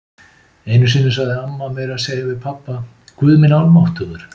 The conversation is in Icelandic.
Einu sinni sagði amma meira að segja við pabba: Guð minn almáttugur.